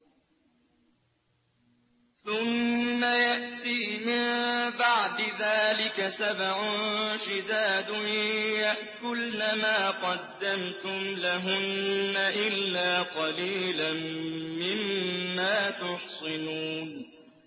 ثُمَّ يَأْتِي مِن بَعْدِ ذَٰلِكَ سَبْعٌ شِدَادٌ يَأْكُلْنَ مَا قَدَّمْتُمْ لَهُنَّ إِلَّا قَلِيلًا مِّمَّا تُحْصِنُونَ